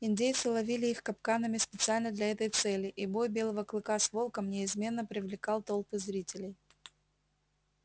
индейцы ловили их капканами специально для этой цели и бой белого клыка с волком неизменно привлекал толпы зрителей